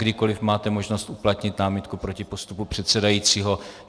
Kdykoli máte možnost uplatnit námitku proti postupu předsedajícího.